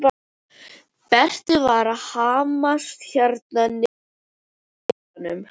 Berti var að hamast hérna niðri í kjallaranum.